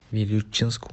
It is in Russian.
вилючинску